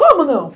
Como não?